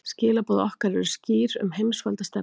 Skilaboð okkar eru skýr um heimsvaldastefnuna